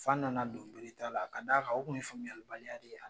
F'an nana don bere ta la, ka da kan o kun ye faamuyalibaliya de ye .